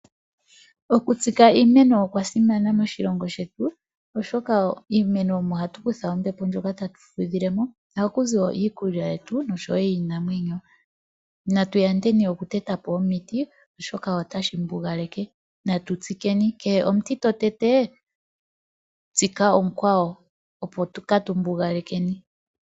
Oku tsika iimeno okwa simana moshilongo shetu, oshoka iimeno omo hatu ku tha ombepo ndjoka ta tu fudhile mo, ohakuzi wo iikulya yetu nosho wo yiinamwenyo. Na tu yandeni oku teta po omiti oshoka otashi mbugaleke, na tu tsike ni kehe omuti to tete tsika omukwawo opo ka tu mbugalekeni.